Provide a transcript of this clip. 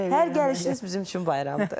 Hər gəlişiniz bizim üçün bayramdır.